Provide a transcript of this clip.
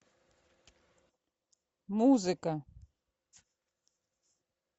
музыка